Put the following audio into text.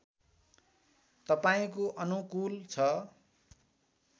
तपाईँको अनुकूल छ